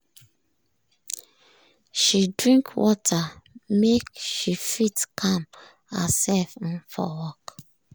she drink water make she fit calm herself um for work.